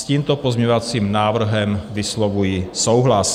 S tímto pozměňovacím návrhem vyslovuji souhlas.